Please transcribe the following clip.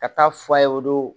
Ka taa f'a ye o don